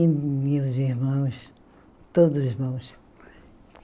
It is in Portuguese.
E meus irmãos, todos irmãos.